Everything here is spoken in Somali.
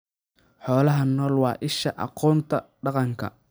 Xoolaha nooli waa isha aqoonta dhaqanka.